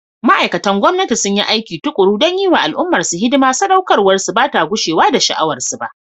Ma’aikatan gwamnati sun yi aiki tukuru don yi wa al’ummarsu hidima, saɗaukarwarsu ba ta gushewa da sha’awarsu ba.